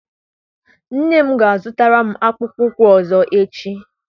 Nne m ga a zụtara m akpụkpọ ụkwụ ọzọ echi.